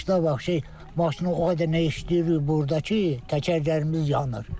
Qışda vapse maşını o qədər nə işləyirik burda ki, təkərlərimiz yanır.